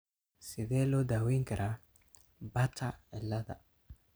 Sidee loo daweyn karaa Bartter ciilada?